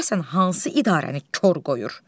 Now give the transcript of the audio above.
Görəsən hansı idarəni kor qoyur?